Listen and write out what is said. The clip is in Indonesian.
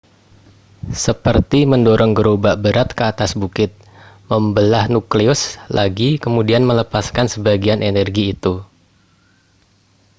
seperti mendorong gerobak berat ke atas bukit membelah nukleus lagi kemudian melepaskan sebagian energi itu